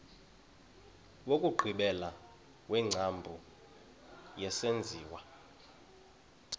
wokugqibela wengcambu yesenziwa